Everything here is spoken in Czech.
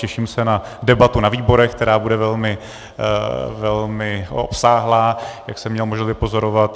Těším se na debatu ve výborech, která bude velmi obsáhlá, jak jsem měl možnost vypozorovat.